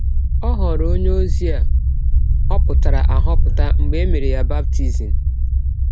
Ọ ghọrọ ọnye ozi a họpụtara ahọpụta mgbe e mere ya baptism